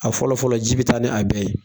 A fɔlɔfɔlɔ ji bi taa ni a bɛɛ ye.